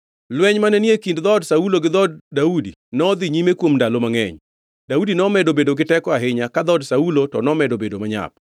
Lweny mane ni e kind dhood Saulo gi dhood Daudi nodhi nyime kuom ndalo mangʼeny. Daudi nomedo bedo giteko ahinya, ka dhood Saulo to nomedo bedo manyap.